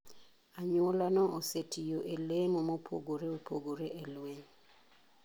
Anyuola no osetiyo e lemo mopogore opogore e lweny.